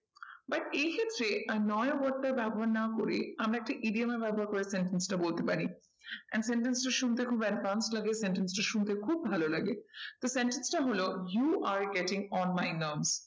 But এই সূত্রে annoying টা ব্যবহার না করে আমরা একটা ব্যবহার করে sentence টা বলতে পারি। and sentence টা শুনতে খুব advance লাগে sentence টা শুনতে খুব ভালো লাগে। তো sentence টা হলো you are getting on my